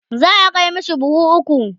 za'a Kai mashi buhu ukwu